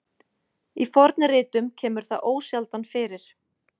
Í fornritum kemur það ósjaldan fyrir.